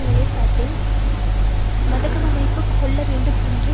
நிலப்பாட்டில் மகதவுமைவு கொள்ள வேண்டும் என்று